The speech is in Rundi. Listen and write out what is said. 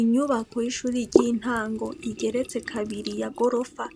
Inyubako y'ishuri ry'intango igeretse kabiri ya gorofa